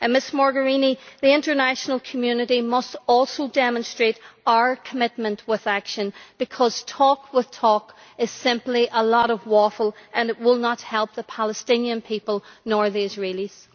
Ms Mogherini, the international community must also demonstrate our commitment with action, because talk with talk is simply a lot of waffle, and it will help neither the Palestinian people nor the Israelis.